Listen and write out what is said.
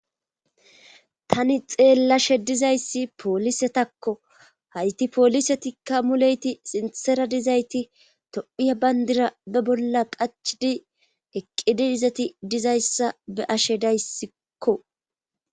tani xeellashe dizayssi poolisetakko hayti poolisetikka muleyti sintsera dizayti tophiya bayndira be bolla qachidi eqqidi dizati dizayssa be ashe dayssikko